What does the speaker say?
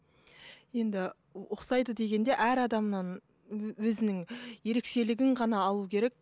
енді ұқсайды дегенде әр адамнан өзінің ерекшелегін ғана алу керек